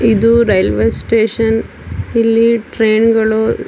ಇದು railway station ಇಲ್ಲಿ ಟ್ರೈನ್ಗಳು --